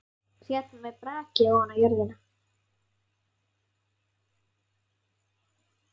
Féll með braki ofan á jörðina.